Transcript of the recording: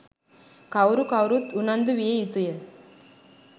කවුරු කවුරුත් උනන්දු විය යුතුය.